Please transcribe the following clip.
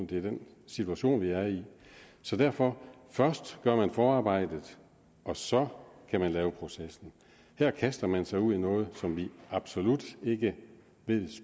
det er den situation de er i så derfor først gør man forarbejdet og så kan man lave processen her kaster man sig ud i noget som vi absolut ikke ved